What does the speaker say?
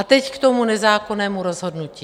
A teď k tomu nezákonnému rozhodnutí.